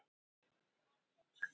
Af hverju er Ástralía ekki eyja?